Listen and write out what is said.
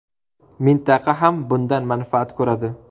Mintaqa ham bundan manfaat ko‘radi.